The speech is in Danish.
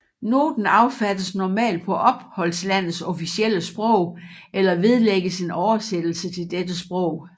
Noten affattes normalt på opholdslandets officielle sprog eller vedlægges en oversættelse til dette sprog